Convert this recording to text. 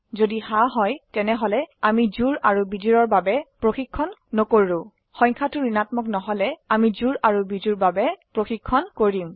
যদি হ্যাঁ হয় তেনেহলে আমি জোড় আৰু বিজোড়ৰ বাবে প্ৰশিক্ষন নকৰো সংখয়াটো ঋণাত্মক নহলে আমি জোড় আৰু বিজোড্ৰ বাবে প্ৰশিক্ষন কৰিম